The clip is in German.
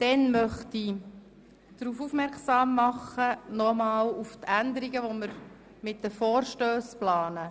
Auch möchte ich noch einmal auf die Änderungen hinweisen, die wir hinsichtlich der Vorstösse planen.